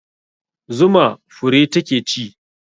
Zuma fure ta ke ci